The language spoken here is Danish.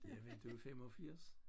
Jamen du 85